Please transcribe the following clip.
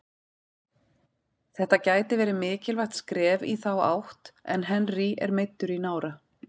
Þetta gæti verið mikilvægt skref í þá átt en Henry er meiddur í nára.